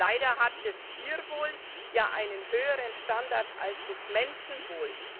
Leider hat das Tierwohl ja einen höheren Standard als das Menschenwohl.